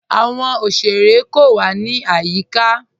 Àwọn ọ̀ṣerẹ̀ kò wà ní ayíká.